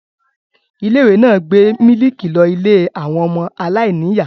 Ilé-ìwé náà gbé mílíkì lọ ilé àwọn ọmọ aláìníìyá.